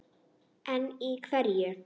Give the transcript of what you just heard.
En í hverju?